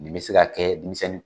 Nin be se ka kɛ denmisɛnnin